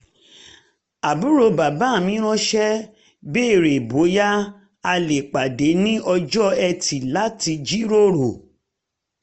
um àbúrò bàbá mi ránṣẹ́ béèrè bóyá a lè um pàdé ní ọjọ́ etì láti jíròrò